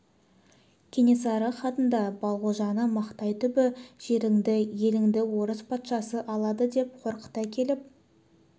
кенесары хатында балғожаны мақтай түбі жеріңді еліңді орыс патшасы алады деп қорқыта келіп